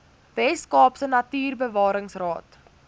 wes kaapse natuurbewaringsraad